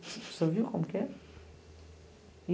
O senhor viu como que é?